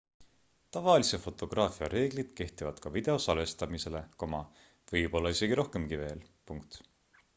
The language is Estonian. tavalise fotograafia reeglid kehtivad ka video salvestamisele võib-olla isegi rohkemki veel